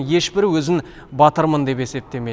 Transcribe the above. еш бірі өзін батырмын деп есептемейді